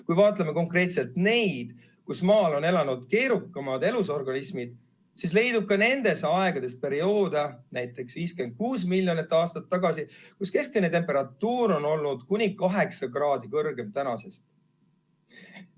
Kui vaatame konkreetselt aegu, kus Maal on elanud keerukamad elusorganismid, siis leidub ka nendes aegades perioode, näiteks 56 miljonit aastat tagasi, kui keskmine temperatuur on olnud kuni kaheksa kraadi kõrgem praegusest.